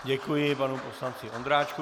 Děkuji panu poslanci Ondráčkovi.